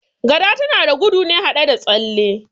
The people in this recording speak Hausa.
Gada tana gudu ne haɗe da tsalle